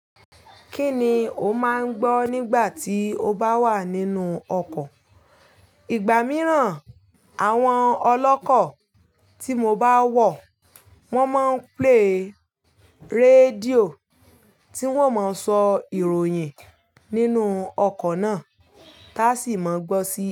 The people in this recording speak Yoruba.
Kí ni o máa ń gbọ́ nígbà tí o bá wà nínú ọkọ̀? Ìgbà mìíràn, àwọn ọlọ́kọ̀ tí mo bá wọ̀, wọ́n máa ń play rédíò tí wọ́n ma ń sọ ìròyìn nínú ọkọ̀ náà, táa sì máa gbọ́ sí.